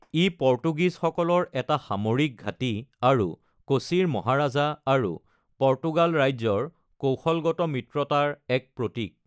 ই পৰ্তুগীজসকলৰ এটা সামৰিক ঘাটি আৰু কোচিৰ মহাৰাজা আৰু পৰ্তুগাল ৰাজ্যৰ কৌশলগত মিত্ৰতাৰ এক প্ৰতীক।